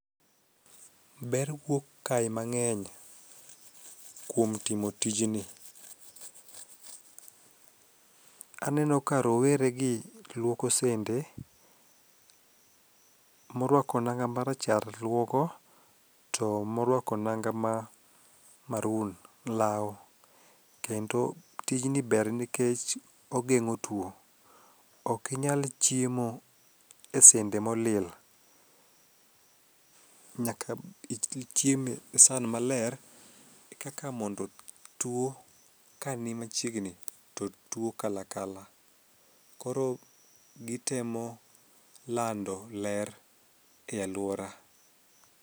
Ber wuok kae mang'eny kuom timo tijni. Aneno ka roweregi luoko sende, morwako nanga marachar luoko to morwako nanga ma maroon lawo kendo tijni ber nikech ogeng'o tuo, okinyal chiemo e sende molil, nyaka ichiem e san maler e kaka mondo tuo kanimachiegni to tuo kalakala, koro gitemo lando ler e alwora.